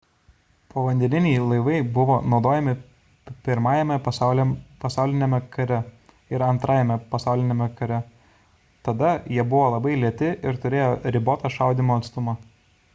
povandeniniai laivai buvo naudojami i pasauliniame kare ir ii pasauliniame kare tada jie buvo labai lėti ir turėjo ribotą šaudymo atstumą